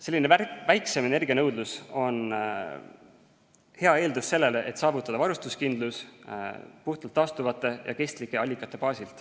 Selline väiksem energianõudlus on hea eeldus sellele, et saavutada varustuskindlus puhtalt taastuvate ja kestlike allikate baasil.